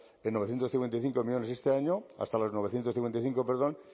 en novecientos cincuenta y cinco millónes este año hasta los novecientos cincuenta y cinco perdón